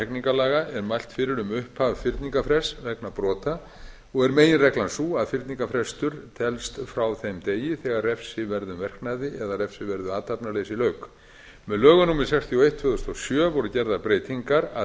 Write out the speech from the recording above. hegningarlaga er mælt fyrir um upphaf fyrningarfrests vegna brota meginreglan er sú að fyrningarfrestur telst frá þeim degi þegar refsiverðum verknaði eða refsiverðu athafnaleysi lauk með lögum númer sextíu og eitt tvö þúsund og sjö voru gerðar breytingar að